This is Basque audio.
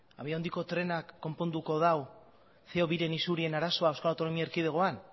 abiadura handiko trenak konponduko dau ce o biren arazoa euskal autonomi erkidegoan